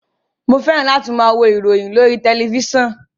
Mo fẹ́ràn láti máa wo ìròyìn lórí tẹ̀lifísàn